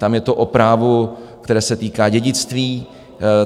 Tam je to o právu, které se týká dědictví.